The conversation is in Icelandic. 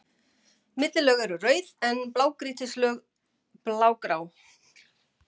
Millilög eru rauð, en blágrýtislög blágrá.